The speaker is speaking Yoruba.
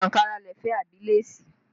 Ṣé ankara lẹ fẹ́ àbí léèsì?